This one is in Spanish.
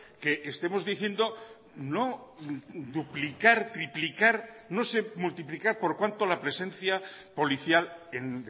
que estemos diciendo no duplicar triplicar no sé multiplicar por cuanto la presencia policial en